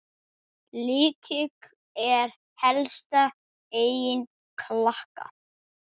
Lykill er helsta eign Klakka.